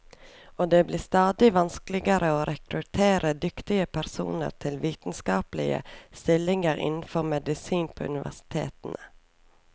Og det blir stadig vanskeligere å rekruttere dyktige personer til vitenskapelige stillinger innenfor medisin på universitetene.